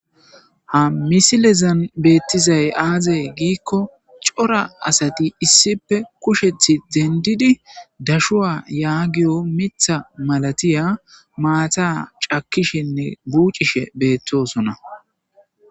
Ha misilezan beettizay aazay giikko cora asati issipe kushethi dendidi dashuwa yaagiyo mitha malatiya maata cakishenne buucishe beettosona